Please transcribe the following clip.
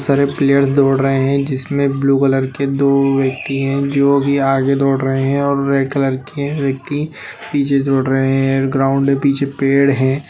बहुत सरे प्लेयर्स दौड़ रहे हैं जिमे ब्लू कलर के दो व्यक्ति है जो आगे दौड़ रहे हैं और रेड कलर के व्यक्ति पीछे दौड़ रहे हैं ग्राउंड के पीछे पेड़ हैं।